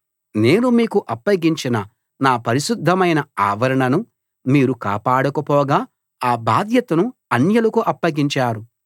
నేను మీకు అప్పగించిన నా పరిశుద్ధమైన ఆవరణను మీరు కాపాడకపోగా ఆ బాధ్యతను అన్యులకు అప్పగించారు